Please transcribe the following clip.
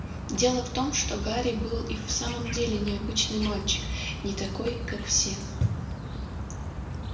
дело в том что гарри был и в самом деле необычный мальчик не такой как все